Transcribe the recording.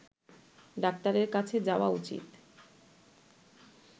ডাক্তারের কাছে যাওয়া উচিত